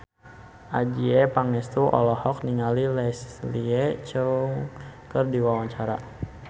Adjie Pangestu olohok ningali Leslie Cheung keur diwawancara